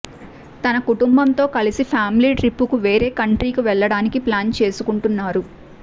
తన కుటుంబంతో కలిసి ఫ్యామిలీ ట్రిప్ కు వేరే కంట్రీకు వెళ్ళటానికి ప్లాన్ చేసుకుంటున్నారు